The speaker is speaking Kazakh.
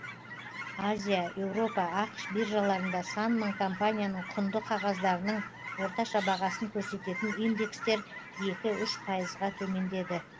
азия европа ақш биржаларында сан мың компанияның құнды қағаздарының орташа бағасын көрсететін индекстер екі үш пайызға төмендеді